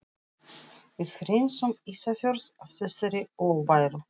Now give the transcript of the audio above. Við hreinsum Ísafjörð af þessari óværu!